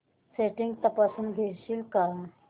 settings तपासून घेशील का